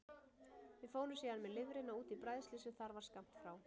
Við fórum síðan með lifrina út í bræðslu sem þar var skammt frá.